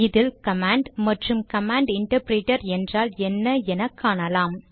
இதில் கமாண்ட் மற்றும் command interpreter என்றால் என்ன என காணலாம்